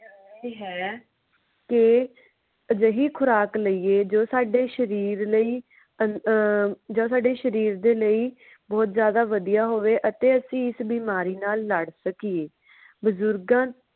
ਹੈ ਤੇ ਅਜੇਹੀ ਖੁਰਾਕ ਲਈਏ ਜੋ ਸਾਡੇ ਸ਼ਰੀਰ ਲਈ ਅਹ ਜੋ ਸਾਡੇ ਸ਼ਰੀਰ ਦੇ ਲਈ ਬਹੁਤ ਜ਼ਿਆਦਾ ਵਧਿਆ ਹੋਵੇ ਅਤੇ ਅਸੀਂ ਇਸ ਬਿਮਾਰੀ ਨਾਲ ਲੜ ਸਕੀਏ ਬੁਜ਼ੁਰਗਾਂ।